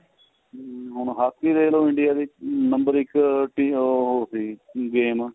ਹਮ ਹੁਣ ਹਾਕੀ ਦੇਖ ਲੋ india ਦੀ number ਇੱਕ ਟੀ ਉਹ ਸੀ game